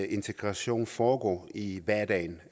integration foregår i hverdagen